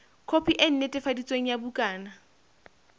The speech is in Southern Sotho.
khopi e netefaditsweng ya bukana